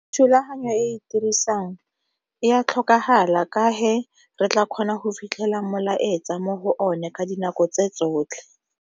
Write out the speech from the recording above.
Thulaganyo e e dirisang e ya tlhokagala ka re tla kgona go fitlhela molaetsa mo go one ka dinako tse tsotlhe.